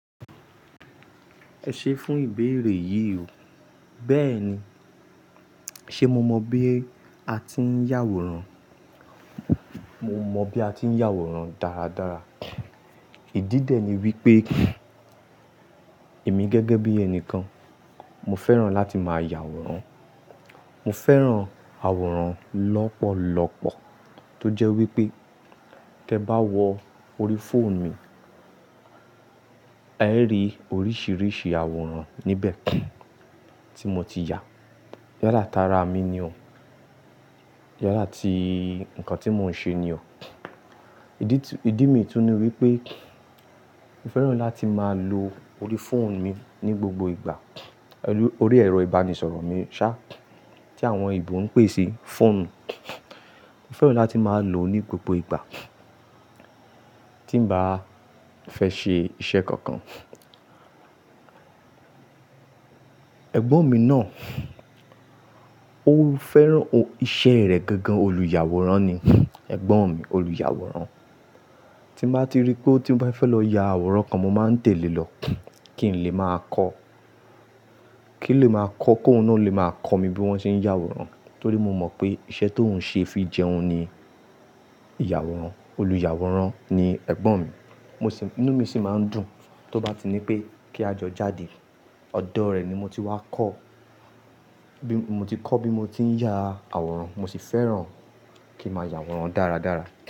Ẹ ṣe fún ìbéèrè yìí o, bẹ́ẹ̀ni, ṣe mo mọ bí a ti ń yàwòrán? Mo mọ bí a ti ń yàwòrán dáradára. Ìdí dẹ ní wípé èmi gẹ́gẹ́ bí ẹni kan, mo fẹ́ràn láti máa yàwòrán. Mo fẹ́ràn àwòrán lọ́pọ̀lọpọ̀ tó jẹ́ wípé tẹ bá wo orí fóònù mi, ẹ ri oríṣiríṣi àwòrán níbẹ̀ tí mo ti yà. Yála tara mi ni o. Yála ti nǹkan tí mò ń ṣe ni o. Ídì mi tún ní wípé mo fẹ́ràn láti máa lo orí fóònù mi ní gbogbo ìgbà. Orí ẹ̀rọ ìbánisọ̀rọ̀ mi ṣá, tí àwọn ebo ń pè sí fóònù. Mo fẹ́ràn láti máa lò ó ní gbogbo ìgbà tí n bá fẹ́ ṣe iṣẹ́ kankan. Ẹ̀gbọ́n mi náà ó fẹ́ràn iṣẹ́ rẹ̀ gangan. Olùyàwòrán ni ẹ̀gbọ́n mi, olùyàwòrán. Tí n bá ti rí pé ó ti fẹ́ lọ ya àwòrán kan, mo máa ń tẹ̀le lọ kí n lè máa kọ́. Kí n lè máa kọ́ kó ó náà lè máa kọ́ mi bí wón ṣe ń yàwòrán. Torí mo mọ̀ pé iṣẹ́ tó ń ṣe fi jẹun ni ìyàwòrán. Olùyàwòrán ni ẹ̀gbọ́n mi. Inú mi sì máa ń dùn tó bá ti ní pé kí a jọ jáde. Ọ̀dọ̀ rẹ̀ ni mo ti wá kọ́. Mo ti kọ́ bí mo ti ń ya àwòrán. Mo sì fẹ́ràn kí ma ya àwòrán dáradára.